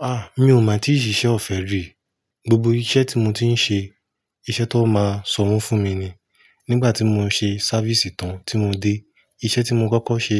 Ah! Mi ò mọ̀ tí ṣiṣẹ́ ọ̀fẹ́ rì. Gbogbo iṣẹ́ tí mo ti ń ṣe, iṣẹ́ tó máa sanwó fún mi ni. Nígbà tí mo ṣe sáfìsì tán tí mo dé, iṣẹ́ tí mo kọ́kọ́ ṣe